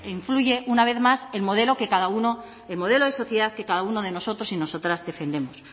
influye una vez más el modelo cada uno el modelo de sociedad que cada uno de nosotros y nosotras defendemos